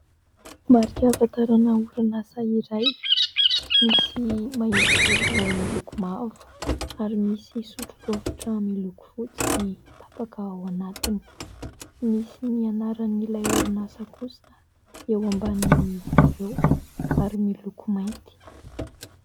Marika ahafatarana orinasa iray, misy mahitsizoro miloko mavo ary misy sotro rovitra miloko fotsy tapaka ao anatiny. Misy ny anaran'ilay orinasa kosa eo ambanin' izy ireo ary miloko mainty.